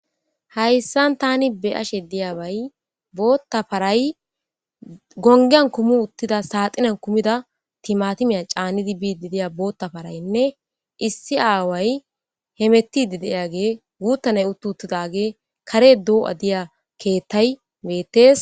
hayssan tani be ashe diya bay bootta paray gongiyan kumu uttida saaxinan kumida timatimiya caannidi biidi deya bootta paraynne issi aaway hemettidi deyage guuttaney uttu uttidage kare doo7a diya keettay meettees